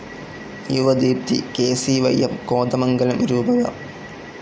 Yuvadeepthi KCYM. Kothamangalam രൂപത